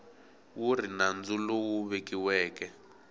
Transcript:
wu ri nandzu lowu vuriweke